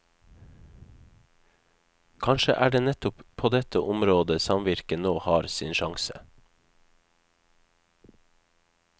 Kanskje er det nettopp på dette området samvirket nå har sin sjanse.